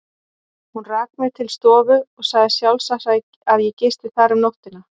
Hún rak mig til stofu og sagði sjálfsagt, að ég gisti þar um nóttina.